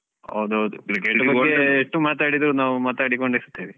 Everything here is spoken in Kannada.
ಹೌದು ಹೌದು cricket ಬಗ್ಗೆ ಎಷ್ಟು ಮಾತಾಡಿದ್ರೂನು ನಾವು ಮಾತಾಡಿಕೊಂಡು ಇರ್ತೇವೆ.